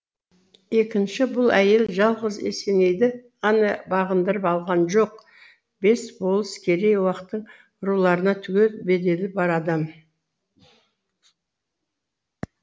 екінші бұл әйел жалғыз есенейді ғана бағындырып алған жоқ бес болыс керей уақтың руларына түгел беделі бар адам